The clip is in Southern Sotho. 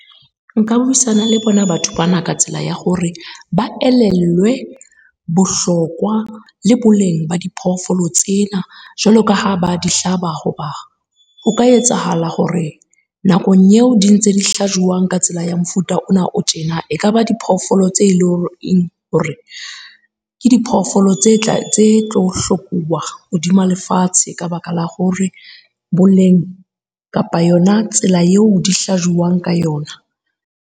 Nka buisana le Bona batho bana ka tsela ya hore, ba elellwe bohlokwa le boleng ba diphoofolo tsena. Jwalo ka ha ba di hlaba, hoba o ka etsahala hore nakong eo di ntse di hlajuwang ka tsela ya mofuta ona o tjena. E kaba diphoofolo tse leng hore ke diphoofolo tse tse tlo hlokuwa hodima lefatshe ka baka la hore boleng kapa yona tsela eo di hlajuwang ka yona.